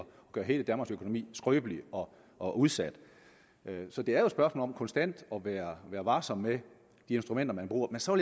gøre hele danmarks økonomi skrøbelig og udsat så det er jo et spørgsmål om konstant at være varsom med de instrumenter man bruger men så